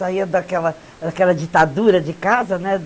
Saía daquela daquela ditadura de casa, né?